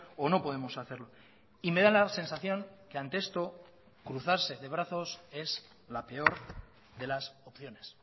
o no podemos hacerlo y me da la sensación que ante esto cruzarse de brazos es la peor de las opciones